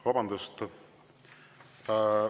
Vabandust!